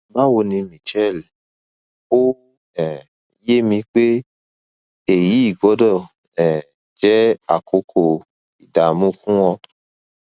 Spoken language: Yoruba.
báwo ni michelle ó um yé mi pé èyí gbọdọ um jẹ àkókò ìdààmú fún ọ